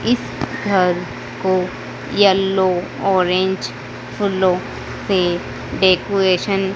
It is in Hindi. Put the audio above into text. इस घर को येलो ऑरेंज फूलों से डेकोरेशन --